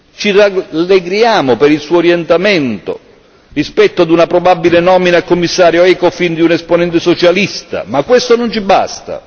Ci rallegriamo per il suo orientamento rispetto ad una probabile nomina a Commissario Ecofin di un esponente socialista, ma questo non ci basta.